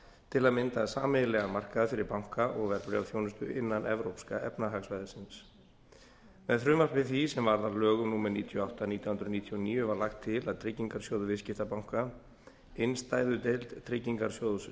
til að mynda sameiginlegan markað fyrir banka og verðbréfaþjónustu innan evrópska efnahagssvæðisins með frumvarpi því sem varð að lögum númer níutíu og átta nítján hundruð níutíu og níu var lagt til að tryggingarsjóður viðskiptabanka innstæðudeild tryggingarsjóðs